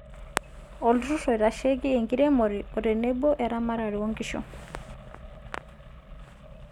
oolturr`rr oitashieki enkiremore otenebo eramatare oonkishu(KALRO)